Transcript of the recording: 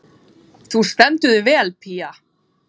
Þú stendur þig vel, Pía!